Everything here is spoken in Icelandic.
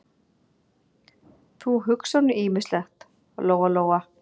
Þú hugsar nú ýmislegt, Lóa-Lóa.